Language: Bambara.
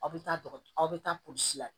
Aw bɛ taa aw bɛ taa polisi la